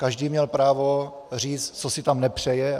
Každý měl právo říct, co si tam nepřeje.